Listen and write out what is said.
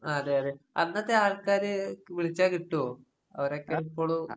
ആഹ് അതെയതെ. അന്നത്തെയാൾക്കാര് ക് വിളിച്ചാ കിട്ടോ? അവരൊക്കെ ഇപ്പഴും